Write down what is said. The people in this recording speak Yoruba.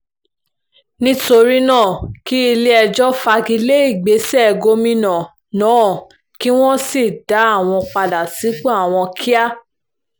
nítorí náà kí ilé-ẹjọ́ fagi lé ìgbésẹ̀ gómìnà náà kí wọ́n sì dá àwọn padà sípò àwọn kíá